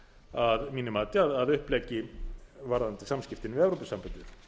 að mínu mati að uppleggi varðandi samskiptin við evrópusambandið